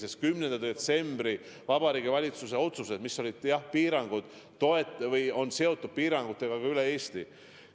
Need on 10. detsembril tehtud Vabariigi Valitsuse otsused, mis on seotud piirangutega üle Eesti.